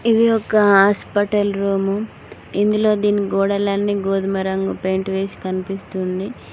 ఇది ఒక hospital room ఇందులో దీని గోడలన్నీ గోధుమ రంగు పెయింట్ వేసి కనిపిస్తుంది.